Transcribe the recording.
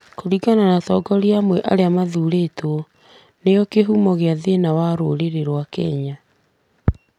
kũringana na atongoria amwe arĩa mathurĩtwo, nĩ guo kĩhumo kĩa thĩna wa rũũrĩrĩ wa Kenya.